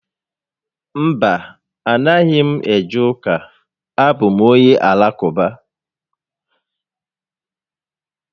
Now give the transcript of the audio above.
Mba, a naghị m eje ụka, a bụ m onye Alakụba